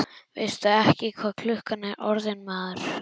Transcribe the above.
Veistu ekki hvað klukkan er orðin, maður?